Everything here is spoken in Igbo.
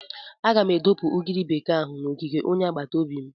Aga m adọpụ ugiri bekee ahụ n'ogige onye agbata obi m.